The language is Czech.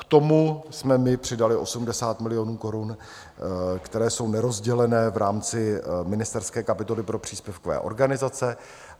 K tomu jsme my přidali 80 milionů korun, které jsou nerozdělené v rámci ministerské kapitoly pro příspěvkové organizace.